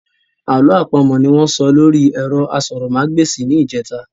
Àlọ́ àpamọ̀ ní wọ́n sọ lóri ẹ̀rọ asọ̀rọ̀mágbèsì ní ìjẹ́ta.